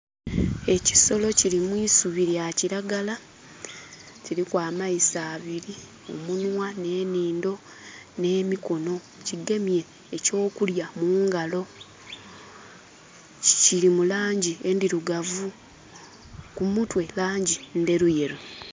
Ekisolo kiri mu isubi lya kiragala kiriku amaiso abiri, omunhwa nh'enindho nh'emikono. Kigemye ekyokulya mu ngalo kiri mu langi endhirugavu ku mutwe langi ndheruyeru.